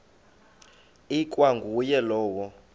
ikwa nguye lowo